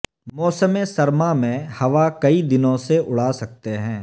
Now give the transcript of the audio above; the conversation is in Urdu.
موسم سرما میں ہوا کئی دنوں سے اڑا سکتے ہیں